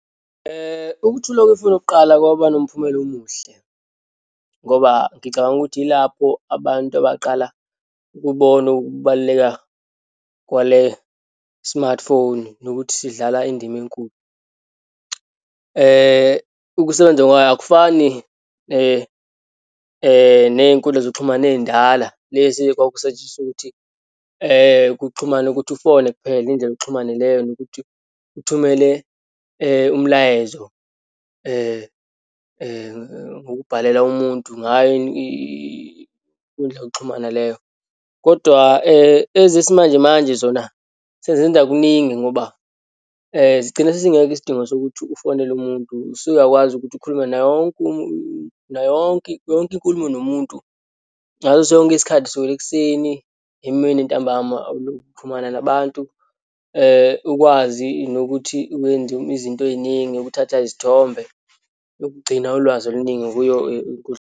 Ukuthulwa kwefoni yokuqala, kwaba nomphumela omuhle ngoba ngicabanga ukuthi yilapho abantu abaqala ukubona ukubaluleka kwale-smartphone, nokuthi sidlala indima enkulu. Ukusebenza kwayo akufani neyinkundla zokuxhumana eyindala, lezi kwakusetshenziswa ukuthi kuxhumane ukuthi ufone kuphela, indlela yokuxhumana ileyo, nokuthi uthumele umlayezo ngokubhalela umuntu ngayo indlela yokuxhumana leyo. Kodwa ezisimanjemanje zona senzenza kuningi ngoba sigcina sesingekho isidingo sokuthi ufonele umuntu, usuyakwazi ukuthi ukhulume nawonke nayonke, yonke inkulumo nomuntu, ngaso sonke isikhathi, kusukela ekuseni, emini, ntambama, ulokhu uxhumana nabantu, ukwazi nokuthi wenza izinto eyiningi, ukuthatha izithombe, ukugcina ulwazi oluningi kuyo inkundla.